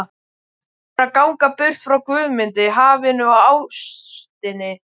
Hún er að ganga burt frá Guðmundi, hafinu og ástinni.